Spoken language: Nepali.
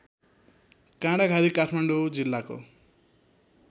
काँडाघारी काठमाडौँ जिल्लाको